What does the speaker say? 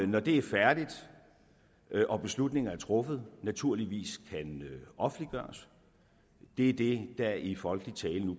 når det er færdigt og beslutningen er truffet naturligvis kan offentliggøres det er det der nu i folkelig tale